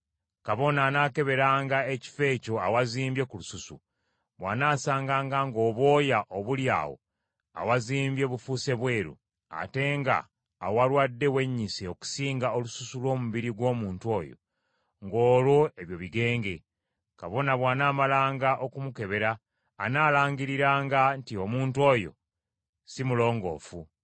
Kabona anaakeberanga ekifo ekyo awazimbye ku lususu, bw’anaasanganga ng’obwoya obuli awo awazimbye bufuuse bweru, ate nga awalwadde wennyise okusinga olususu lw’omubiri gw’omuntu oyo, ng’olwo ebyo bigenge. Kabona bw’anaamalanga okumukebera anaalangiriranga nti omuntu oyo si mulongoofu.